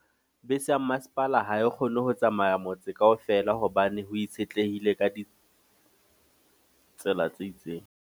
Bese ya masepala ha e kgone ho tsamaya motse kaofela. Hobane ho itshetlehile ka ditsela tse itseng.